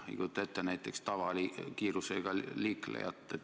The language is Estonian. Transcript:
Ei kujuta ette näiteks jalakäija tavakiirusega liiklejat.